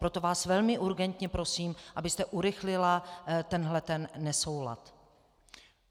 Proto vás velmi urgentně prosím, abyste urychlila tenhle nesoulad.